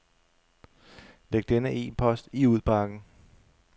Læg denne e-post i udbakken.